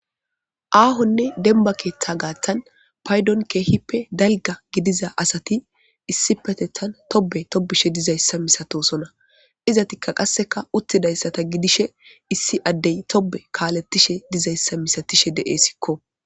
aahonne demba keeththa gaaththan paydon keehippe dalga gidiza asati issi petethan tobe tobishe dizayssa misatosona izatikka qasseka uttidayssata gidishe issi addey tobe kaaletishe dizayssa misatishe de7e sikko